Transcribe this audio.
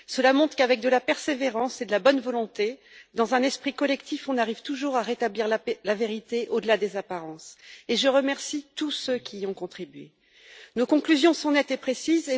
Cela montre qu'avec de la persévérance et de la bonne volonté, dans un esprit collectif, on arrive toujours à rétablir la vérité au delà des apparences, et je remercie tous ceux qui y ont contribué. Nos conclusions sont nettes et précises.